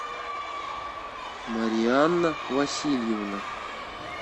марианна васильевна